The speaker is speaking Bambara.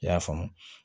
I y'a faamu